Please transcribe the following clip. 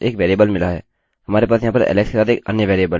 हम इन वेरिएबल्स की तुलना कर रहे हैं हमें इसके अंदर दो बराबर चिह्नों कि आवश्यकता है